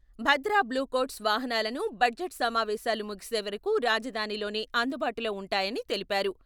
'భద్ర బ్లూకోట్స్'వాహనాలను బడ్జెట్ సమావేశాలు ముగిసే వరకు రాజధానిలోనే అందుబాటులో ఉంటాయని తెలిపారు.